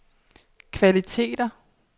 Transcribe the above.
kvaliteter